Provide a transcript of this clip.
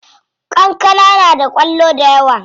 Kankana na da kwallo dayawa.